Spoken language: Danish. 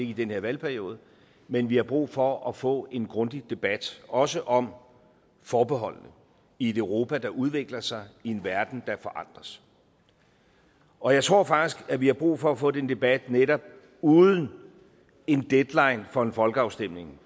i den her valgperiode men vi har brug for at få en grundig debat også om forbeholdene i et europa der udvikler sig i en verden der forandres og jeg tror faktisk at vi har brug for at få den debat netop uden en deadline for en folkeafstemning